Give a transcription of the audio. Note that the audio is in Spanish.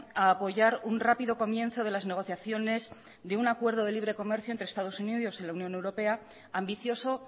a apoyar un rápido comienzo de las negociaciones de un acuerdo de libre comercio entre estados unidos y la unión europea ambicioso